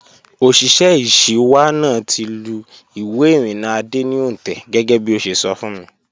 Òṣìṣẹ́ ìṣíwá náà ti lù ìwé ìrìnnà Adé ní òǹtẹ̀ gẹ́gẹ́bí ó ṣe sọ fún mi